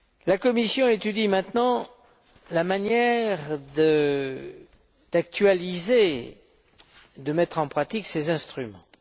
La Commission étudie maintenant la manière d'actualiser et de mettre en pratique ces instruments.